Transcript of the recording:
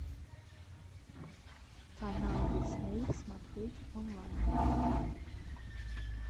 канал дисней смотреть онлайн